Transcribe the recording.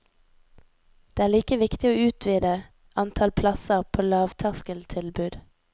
Det er like viktig å utvidet antall plasser på lavterskeltilbud.